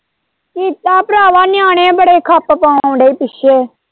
ਕੀਤਾ ਭਰਾਵਾਂ ਨਿਆਣੇ ਬੜੇ ਖੱਪ ਪਾਉਣ ਦੇ ਪਿੱਛੇ।